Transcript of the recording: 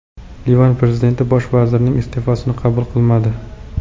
Livan prezidenti bosh vazirning iste’fosini qabul qilmadi.